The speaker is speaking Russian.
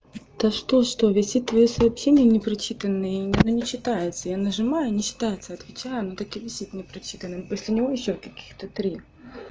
то что что весит твоё сообщения непрочитанные и ну не читаются я нажимаю не читается отвечаю оно так и висит непрочитанным после него ещё каких-то три